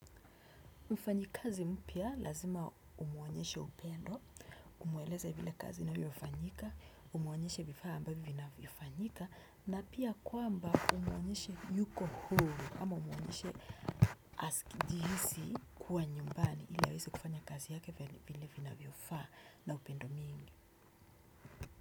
Mfanyakazi mpya lazima umuonyeshe upendo, umueleze vile kazi inavyofanyika, umuonyeshe vifaa ambavyo inavyofanyika, na pia kwamba umuonyeshe yuko hulu ama umuonyeshe hujihisi kuwa nyumbani ila aweze kufanya kazi yake vile vinavyofaa na upendo mingi.